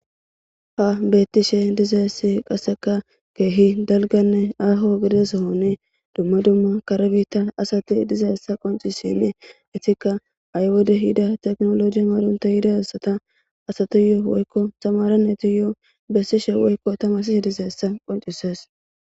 Ha betishe dizays qaseka keeh dalganne aaho gidida sohoni dumma dumma kare bitta asati dizaysa qoncisishin etika ha'i wode tekinoloje ehida asati woyko tamare naytuyo besishe woyko tamarisishe dizays qoncises.